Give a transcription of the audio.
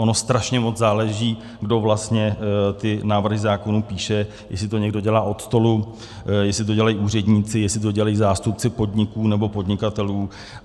Ono strašně moc záleží, kdo vlastně ty návrhy zákonů píše, jestli to někdo dělá od stolu, jestli to dělají úředníci, jestli to dělají zástupci podniků nebo podnikatelů.